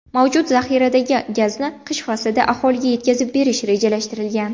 Mavjud zaxiradagi gazni qish faslida aholiga yetkazib berish rejalashtirilgan.